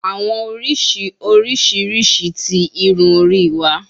Awọn oriṣi oriṣiriṣi ti irun ori wa